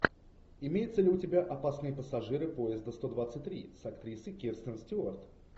имеется ли у тебя опасные пассажиры поезда сто двадцать три с актрисой кирстен стюарт